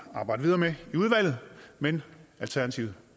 at arbejde videre med i udvalget men alternativet